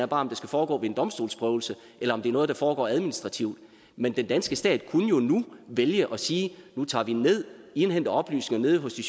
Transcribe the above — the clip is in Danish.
bare om det skal foregå ved en domstolsprøvelse eller om det er noget der foregår administrativt men den danske stat kunne jo nu vælge at sige nu tager vi ned og indhenter oplysninger nede hos de